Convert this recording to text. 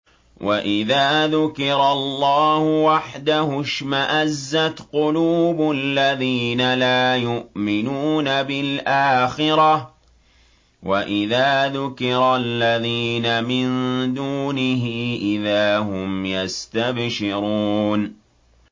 وَإِذَا ذُكِرَ اللَّهُ وَحْدَهُ اشْمَأَزَّتْ قُلُوبُ الَّذِينَ لَا يُؤْمِنُونَ بِالْآخِرَةِ ۖ وَإِذَا ذُكِرَ الَّذِينَ مِن دُونِهِ إِذَا هُمْ يَسْتَبْشِرُونَ